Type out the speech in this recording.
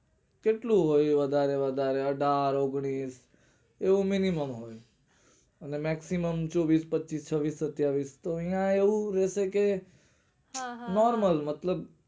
કેટલું હોય વધારે વધારે અઠાર ઓગણીશ એવું minimum હોય અને maximum વીશ પચીશ છવીશ સતાવીશ ન્યા એવું રેછે કે હા હા હા normal મતલબ